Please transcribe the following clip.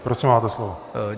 Prosím, máte slovo.